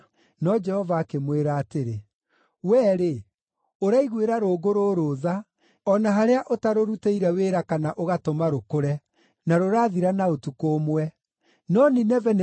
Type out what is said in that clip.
No Jehova akĩmwĩra atĩrĩ, “Wee-rĩ, ũraiguĩra rũũngũ rũrũ tha, o na harĩa ũtarũrutĩire wĩra kana ũgatũma rũkũre. Rũrakũrire na ũtukũ ũmwe, na rũrathira na ũtukũ ũmwe.